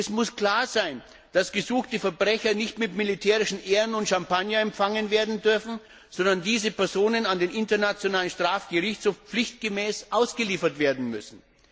Es muss klar sein, dass gesuchte Verbrecher nicht mit militärischen Ehren und Champagner empfangen werden dürfen, sondern diese Personen an den Internationalen Strafgerichtshof pflichtgemäß ausgeliefert werden müssen.